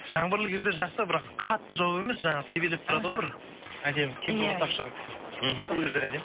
жаңбырлы кезде жақсы бірақ қатты жауып емес жаңағы себелеп тұрады ғой бір әдемі кемпірқосақ шығып мхм сол кездер әдемі